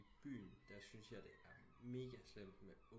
Byen der syntes jeg det er mega slemt med